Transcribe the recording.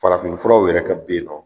Farafin furaw yɛrɛ kɛ be yen nɔ